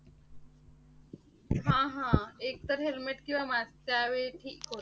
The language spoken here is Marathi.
हा हा. एकतर helmet किंवा mask त्यावेळी ठीक हो